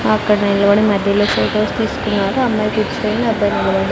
అక్కడ నిలబడి మధ్యలో ఫొటోస్ తీసుకున్నారు అమ్మాయి కూర్చుంది అబ్బాయి నిలబ--